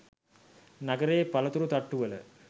නගරයේ පලතුරු තට්ටුවල